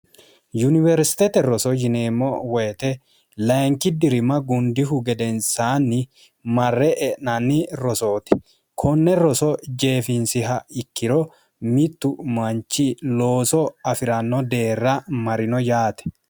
yuniwersitete roso yineemmo woyite layinki dirima gundihu gedensaanni marre e'nanni rosooti konne roso jeefinsiha ikkiro mittu manchi looso afi'ranno deerra marino yaate